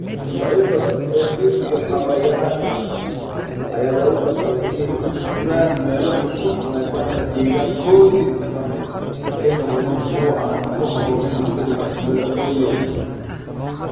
Noocyo badan oo dhir iyo xayawaan ah ayaa lagu qasbay inay u guuraan meelo cusub maadaama deegaankoodii dhaqameed ay noqdeen kuwo aan ku habboonayn isbeddelka cimilada awgeed.